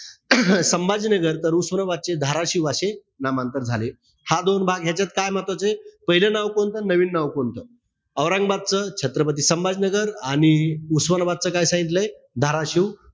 संभाजीनगर तर उस्मानाबादचे धाराशीव अशे नामांतर झाले. हा दोन भाग. यांच्यात काय महत्वाचंय? पाहिलं नाव कोणतं आणि नवीन नाव कोणतं. औरंगाबादचं, छत्रपती संभाजीनगर. आणि उस्मानाबादचे काय सांगितलंय? धाराशिव.